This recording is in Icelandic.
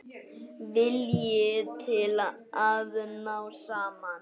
Vilji til að ná saman.